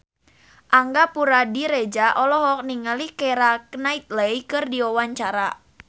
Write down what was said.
Angga Puradiredja olohok ningali Keira Knightley keur diwawancara